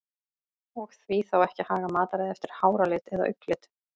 Og því þá ekki að haga mataræði eftir háralit eða augnlit?